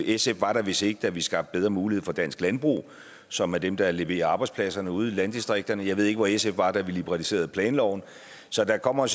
sf var der vist ikke da vi skabte bedre mulighed for dansk landbrug som er dem der leverer arbejdspladserne ude i landdistrikterne jeg ved ikke hvor sf var da vi liberaliserede planloven så der kommer